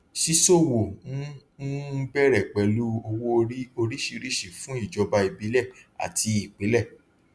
ṣíṣòwò ń um bẹrẹ pẹlú owóorí oríṣìíríṣìí fún ìjọba ìbílẹ àti ìpínlẹ